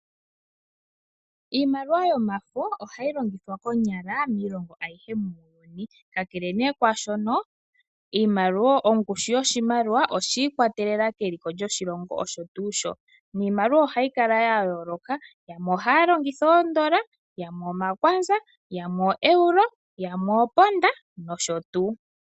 Iimaliwa yomafo ohayi longithwa konyala miilongo ayihe muuyuni ka kele ne kwaashono ongushu yoshimaliwa oyiikwatelela keliko lyoshilongo osho tuu shoka niimaliwa ohayi kala ya yooloka yamwe ohaya longitha oondola yamwe omakwanza, yamwe oeuro yamwe oponda nosho tuu.